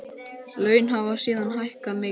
Laun hafa síðan hækkað mikið.